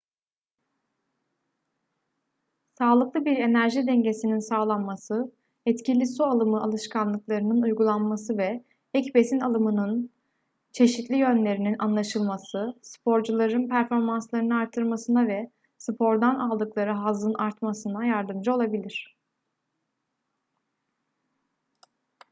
sağlıklı bir enerji dengesinin sağlanması etkili su alımı alışkanlıklarının uygulanması ve ek besin alımının çeşitli yönlerinin anlaşılması sporcuların performanslarını artırmasına ve spordan aldıkları hazzın artmasına yardımcı olabilir